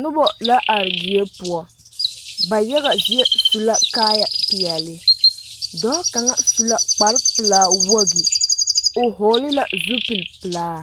Noba la are die poɔŋ ba yaga zie su la kaayɛ peɛle dɔɔ kaŋa su la kpar pelaa wogi o hɔgele la zupili pelaa